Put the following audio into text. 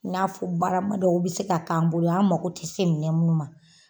N'a fɔ barama dɔw be se k'an bolo an mago tɛ se minɛn munnu ma.